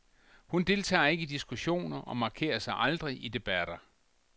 Hun deltager ikke i diskussioner, og markerer sig aldrig i debatter.